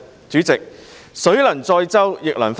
主席，水能載舟，亦能覆舟。